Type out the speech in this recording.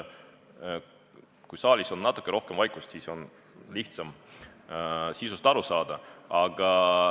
Kui saalis on natuke rohkem vaikust, siis on sisust lihtsam aru saada.